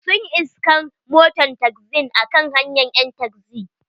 Sun iskan moton taxin a kan hanyan ƴan taxi.